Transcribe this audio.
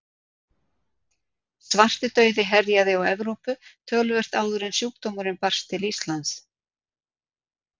Svartidauði herjaði á Evrópu töluvert áður en sjúkdómurinn barst til Íslands.